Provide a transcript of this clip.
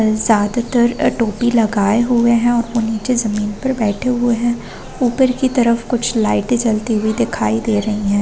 ज्यादातर टोपी लगाए हुए हैं और वो नीचे जमीन पर बैठे हुए हैं ऊपर की तरफ कुछ लाइटे जलती हुई दिखाई दे रही है।